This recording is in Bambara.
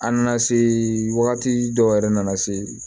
An nana se wagati dɔw yɛrɛ nana se